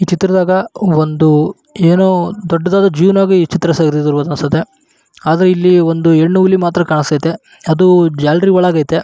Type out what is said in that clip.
ಈ ಚಿತ್ರದಾಗ ಒಂದು ಎಂಮೋ ದೊಡ್ಡದಾದ ಜೂ ನಲ್ಲಿ ತೆಗ್ದಿರೋ ಹನ್ಗಅನ್ಸುತ್ತೆ ಹಾಗೆ ಇದ್ರಲ್ಲಿ ಒಂದು ಹೆಣ್ಣು ಹುಲಿ ಕೂಡ ಕಂಸ್ಥೈತೆ ಅದು ಜಾಲರೀ ಒಳಗೈತೆ.